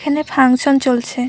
এখানে ফাংশন চলছে ।